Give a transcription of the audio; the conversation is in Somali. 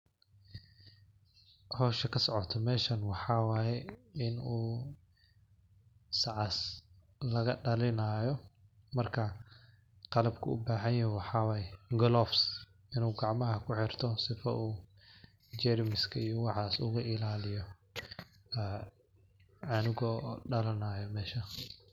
Howsha kasocoto meshan waxaa waye in uu sacaas laga dalinayo. Marka qalabku ubahanyahay waxaa waye gloves in uu gacmaha kuxirto sifo uu jermiska iyo waxas uga ilaliyo canuga oo dalanayo mesha.